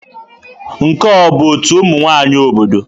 Nke a ọ bụ ọtú ụmụ nwanyị obodo?